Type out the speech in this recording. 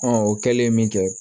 o kɛlen min kɛ